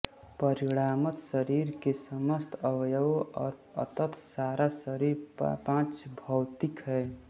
परिणामत शरीर के समस्त अवयव और अतत सारा शरीर पांचभौतिक है